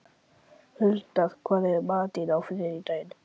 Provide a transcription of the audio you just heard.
Huldar, hvað er í matinn á þriðjudaginn?